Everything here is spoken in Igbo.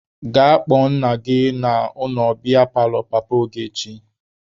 Gaa kpọọ nna unu na biya paalọ papa Ogechi!